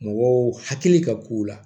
Mɔgɔw hakili ka k'u la